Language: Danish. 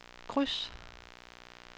kryds